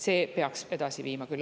See peaks meid edasi viima küll.